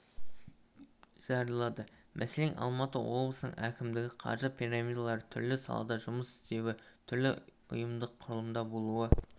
жариялады мәселен алматы облысының әкімдігі қаржы пирамидалары түрлі салада жұмыс істеуі түрлі ұйымдық құрылымда болуы